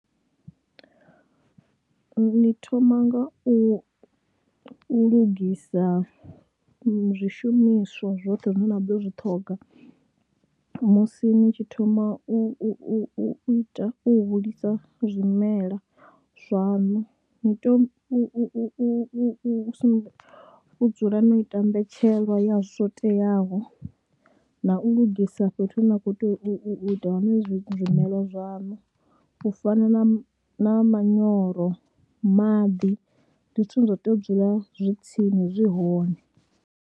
Ni thoma nga u lugisa zwishumiswa zwoṱhe zwine na ḓo zwi ṱhoga musi ni tshi thoma u u u ita u hulisa zwimela zwaṋu, ni tea u u u u sumbe, u dzula no ita mbetshelo ya zwo teaho na u lugisa fhethu hune na khou tea u u u u ita hone zwimelwa zwaṋu, u fana na manyoro, maḓi, ndi zwithu zwine zwa tea u dzula zwi tsini, zwi hone.